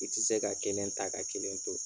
I tɛ se ka kelen ta ka kelen to.